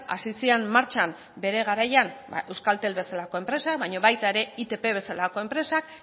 hasi ziren martxan bere garaian euskaltel bezalako enpresak baina baita ere itp bezalako enpresak